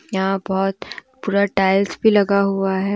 यहां बहुत पूरा टाइल्स भी लगा हुआ है।